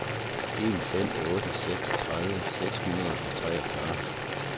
en fem otte seks tredive seks hundrede og treogfyrre